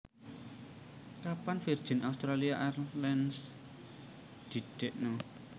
Kapan Virgin Australia Airlines didekno?